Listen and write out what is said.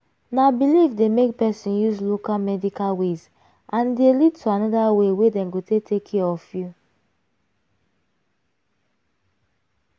na belief dey make person use local medical ways and e dey lead to another way wey dem go take take care of you.